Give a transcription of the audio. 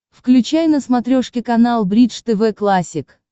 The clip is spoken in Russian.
включай на смотрешке канал бридж тв классик